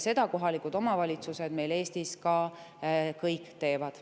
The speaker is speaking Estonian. Seda kohalikud omavalitsused Eestis ka kõik teevad.